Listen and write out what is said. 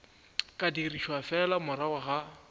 ka dirišwa fela morago ga